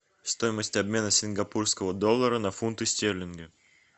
стоимость обмена сингапурского доллара на фунты стерлинги